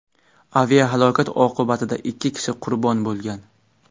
Aviahalokat oqibatida ikki kishi qurbon bo‘lgan.